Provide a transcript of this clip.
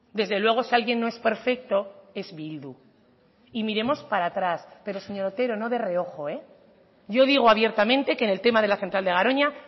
desde luego si alguien no es perfecto es bildu y miremos para atrás pero señor otero no de reojo yo digo abiertamente que en el tema de la central de garoña